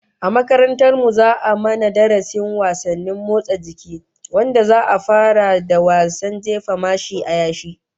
A makarantar mu za'a mana darasin wasannin motsa jiki, wanda za'a fara da wasan jefa Mashi a yashi